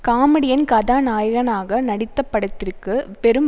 comedian கதாநாயகனாக நடித்த படத்திற்கு பெரும்